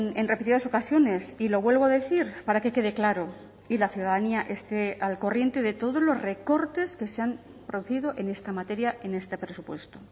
en repetidas ocasiones y lo vuelvo a decir para que quede claro y la ciudadanía esté al corriente de todos los recortes que se han producido en esta materia en este presupuesto